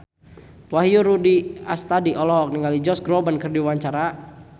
Wahyu Rudi Astadi olohok ningali Josh Groban keur diwawancara